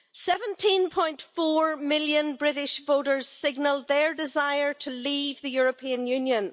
17.4 million British voters signalled their desire to leave the European Union.